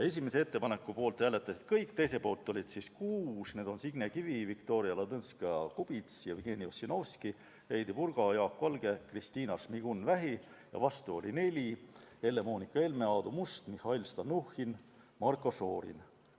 Esimese ettepaneku poolt hääletasid kõik, teise poolt oli kuus: Signe Kivi, Viktoria Ladõnskaja-Kubits, Jevgeni Ossinovski, Heidy Purga, Jaak Valge, Kristiina Šmigun-Vähi, ja vastu oli neli: Helle-Moonika Helme, Aadu Must, Mihhail Stalnuhhin ja Marko Šorin.